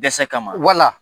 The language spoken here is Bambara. Dɛsɛ kama wala